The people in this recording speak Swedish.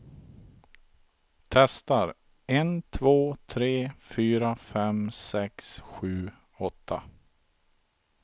Testar en två tre fyra fem sex sju åtta.